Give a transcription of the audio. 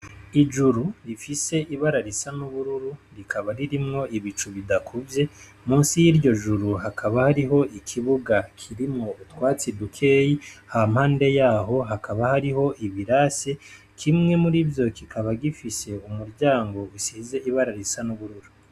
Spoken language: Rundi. Ijuru rifise ibara risa n'ubururu rikaba ririmwo ibicu bidakuvye, musi y'iryo juru hakaba hariho ikibuga kirimwo utwatsi dukeyi, hampande yaho hakaba hariho ibirasi, kimwe mur'ivyo kikaba gifise umuryango usize ibara risa n'ubururu.